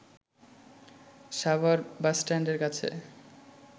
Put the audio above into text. সাভার বাসস্ট্যান্ডের কাছে